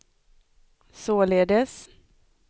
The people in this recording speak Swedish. således